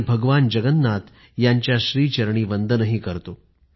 आणि भगवान जगन्नाथ यांच्या श्रीचरणी वंदनही करतो